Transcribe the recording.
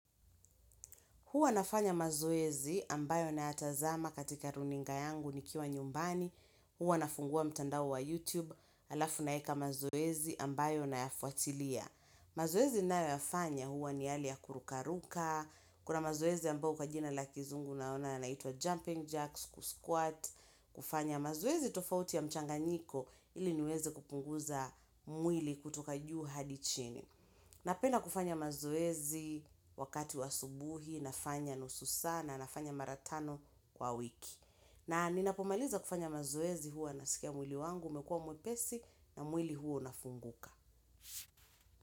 Huwa nafanya mazoezi ambayo natazama katika runinga yangu ni kiwa nyumbani. Huwa nafungua mtandao wa YouTube alafu naeka mazoezi ambayo nayafuatilia. Mazoezi ninayoyafanya huwa ni yale ya kurukaruka. Kuna mazoezi ambayo kwa jina la kizungu naona yanaitwa jumping jacks, kusquat. Kufanya mazoezi tofauti ya mchanganyiko ili niweze kupunguza mwili kutoka juu hadi chini. Napenda kufanya mazoezi wakati wa asubuhi, nafanya nusu saa, nafanya mara tano kwa wiki. Na ninapomaliza kufanya mazoezi huwa nasikia mwili wangu, umekua mwepesi na mwili huwa unafunguka.